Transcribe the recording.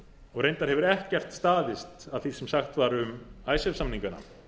og reyndar hefur ekkert staðist af því sem sagt var um icesave samningana